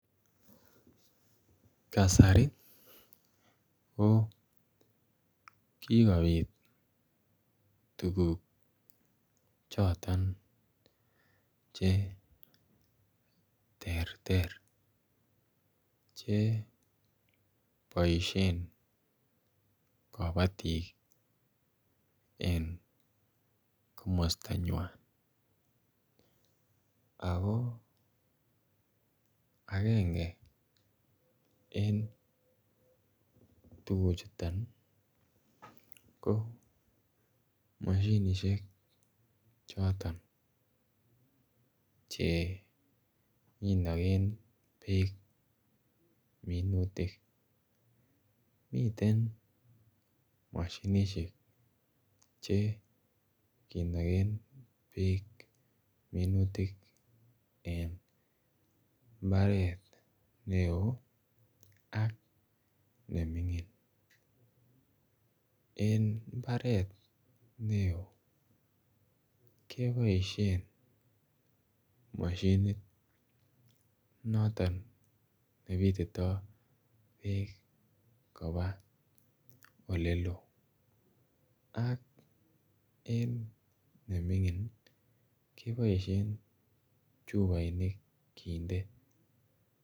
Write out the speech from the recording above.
Kasari ko kikobiit tuguuk chotoon che terter che boisien kabatik eng komosta nywaany ako agenge en tuguuk chutoon ko mashinisheek chotoon che kinageen beek minutik miten mashinisheek che kinageen beek minutik en mbaret ne oo ak ne mingiin en mbaret ne oo kebaisheen mashiniit notoon ne bititoi beek kobaa ole loo ak en ne mingiin kebaisheen chupainik kindee.